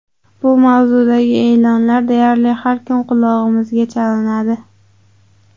Bu mavzudagi e’lonlar deyarli har kun qulog‘imizga chalinadi.